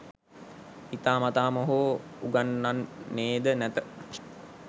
හිතාමතාම හෝ උගන්වන්නේද නැත